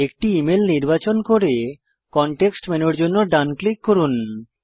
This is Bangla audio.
একটি ইমেল নির্বাচন করে কনটেক্সট মেনুর জন্য ডান ক্লিক করুন